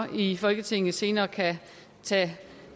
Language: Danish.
i folketinget senere kan tage